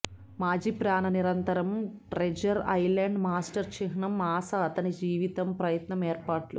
మాజీ ప్రాణ నిరంతరం ట్రెజర్ ఐలాండ్ మాస్టర్ చిహ్నం ఆశ అతని జీవితం ప్రయత్నం ఏర్పాట్లు